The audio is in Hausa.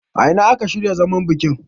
a ina aka shirya zaman bikin?